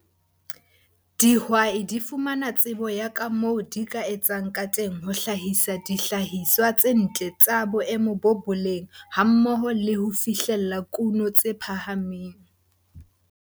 Dihwai di fumana tsebo ya ka moo di ka etsang ka teng ho hlahisa dihlahiswa tse ntle tsa boemo ba boleng hammoho le ho fihlella kuno tse phahameng.